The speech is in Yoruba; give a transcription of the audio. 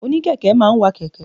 Òní kẹ̀kẹ́ máa ń wa kẹ̀kẹ́.